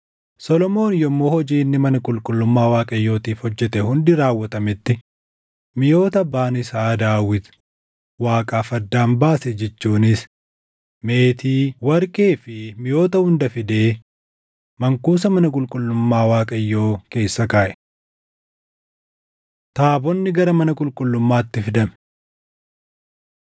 Solomoon yommuu hojiin inni mana qulqullummaa Waaqayyootiif hojjete hundi raawwatametti miʼoota abbaan isaa Daawit Waaqaaf addaan baase jechuunis meetii, warqee fi miʼoota hunda fidee mankuusa mana qulqullummaa Waaqayyoo keessa kaaʼe. Taabonni Gara Mana Qulqullummaatti Fidame 5:2–6:11 kwf – 1Mt 8:1‑21